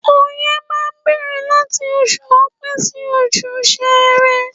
Oye máa ń bẹ̀rẹ̀ láti oṣù Ọpẹ sí oṣù sere.